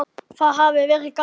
Það hefði verið gaman.